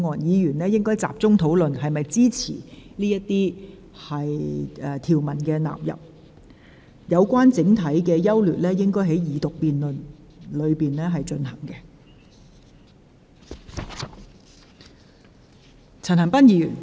委員應集中討論是否支持納入這些條文及附表；至於《條例草案》的整體優劣，則應在二讀辯論時討論。